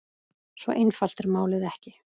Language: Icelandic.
Svo einfalt er málið ekki.